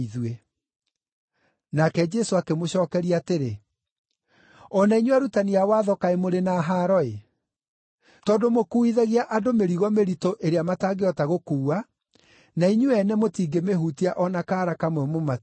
Nake Jesũ akĩmũcookeria atĩrĩ, “O na inyuĩ arutani a Watho kaĩ mũrĩ na haaro-ĩ! Tondũ mũkuuithagia andũ mĩrigo mĩritũ ĩrĩa matangĩhota gũkuua, na inyuĩ ene mũtingĩmĩhutia o na kaara kamwe mũmateithie.